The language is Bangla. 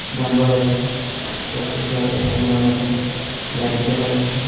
ডাম্বাল আছে সবকিছু আছে একটা রুমের মধ্যে লাইটও দেখা যাচ্ছে।